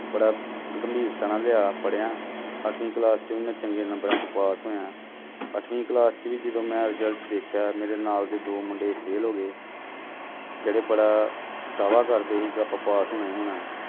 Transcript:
ਬੜਾ ਗੰਭੀਰਤਾ ਨਾਲ ਲਿਆ, ਪੜ੍ਹਿਆ ਅੱਠਵੀਂ class ਚੋਂ ਵੀ ਮੈਂ ਚੰਗੇ ਨੰਬਰਾਂ 'ਚ ਪਾਸ ਹੋਇਆ, ਅੱਠਵੀਂ class 'ਚ ਵੀ ਜਦੋਂ ਮੈਂ result ਦੇਖਿਆ ਮੇਰੇ ਨਾਲ ਦੇ ਦੋ ਮੁੰਡੇ fail ਹੋ ਗਏ ਜਿਹੜੇ ਬੜਾ ਦਾਵਾ ਕਰਦੇ ਸੀ ਕਿ ਆਪਾਂ ਪਾਸ ਹੋਣਾ ਹੀ ਹੋਣਾ।